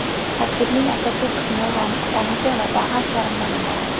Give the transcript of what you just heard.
Tarkibining asosiy qismi rom, tamaki va dag‘al charmdan iborat.